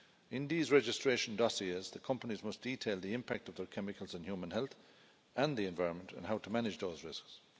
In these registration dossiers, the companies must detail the impact of the chemicals on human health and the environment, and how to manage those risks.